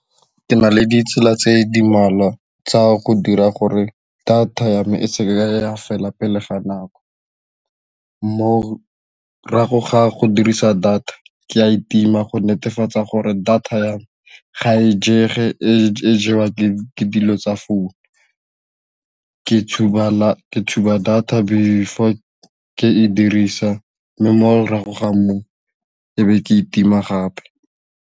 Ke na le ditsela tse di mmalwa tsa go dira gore data ya me e seka ya fela pele ga nako morago ga go dirisa data ke a itima go netefatsa gore data ya me ga e jege, e jewa ke dilo tsa phouno, ke tshuba data pele before ke e berekisa mme mo morago ga moo ebe ke itima gape.